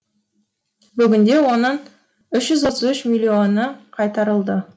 бүгінде оның үш жүз отыз үш миллионы қайтарылды